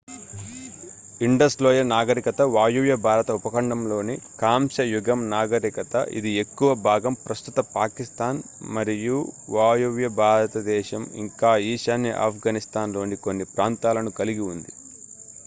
Indus లోయ నాగరికత వాయువ్య భారత ఉపఖండంలోని కాంస్య యుగం నాగరికత ఇది ఎక్కువ భాగం ప్రస్తుత పాకిస్తాన్ మరియువాయువ్య భారతదేశం ఇంకా ఈశాన్య ఆఫ్ఘనిస్తాన్ లోని కొన్ని ప్రాంతాలను కలిగి ఉంది